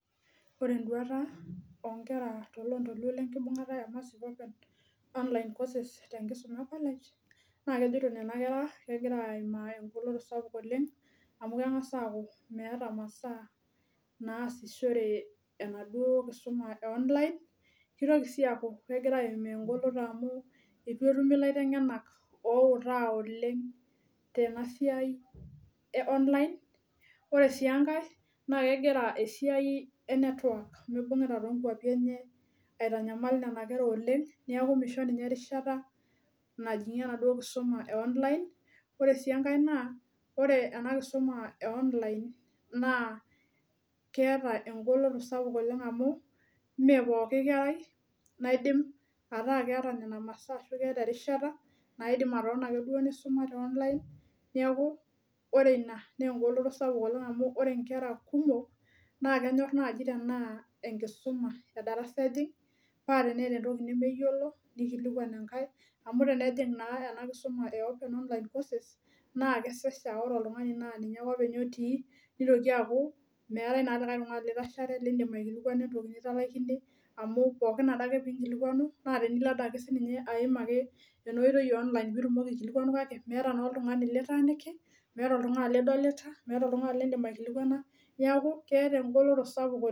Ore eduata too Nkera tolondoluo enkibungata ee online courses tenkisuma ee college naa kejoito Nena kera naa kegira ayimaa golikinot amu meeta masaa nasishore enaduo kisuma ee online kitoki sii akuu kegira ayimaa egolikinoto amu eitu etumi elaitegena owutaa oleng tenaa siai ee online ore sii enkae naa kegira esiai ee network mibungita too nkwapii enye aitanyamal Nena kera oleng neeku misho erishata najingie ena kisuma ee online ore sii enkae naa ore ena kisuma ee online naa keeta egolioyo sapuk amu mee pooki kerai naidim ataa keeta Nena masaa ashu erishata naton ake duo nisuma tee online neeku ore ena naa egoloto sapuk amu ore enkera naa kenyor naaji tenaa enkisuma edarasa ejing paa teneta entoki nemeyiolo nikilikuan enkae amu tenening naa ena kisuma ee open online courses naa kesesha aa ore oltung'ani naa ninye ake openy otii nemiata likae tung'ani litashare lidim aikilikuana entoki nitalaikine amu pookin Ade lee enkilikuanu naa tenilo Ade ayim ena oitoi ee online pee etumoki aikilikuanu kake meeta oltung'ani litaniki meeat oltung'ani litaniki meeta oltung'ani lidim aikilikuana neeku keeta egoloto sapuk oleng